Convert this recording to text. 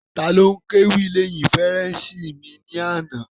Taló n kéwì lẹ́hìn fèrèsé mi ní àná?